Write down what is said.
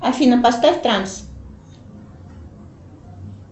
афина поставь транс